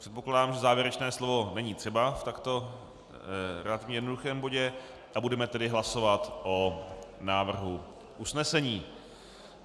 Předpokládám, že závěrečné slovo není třeba v takto relativně jednoduchém bodě, a budeme tedy hlasovat o návrhu usnesení.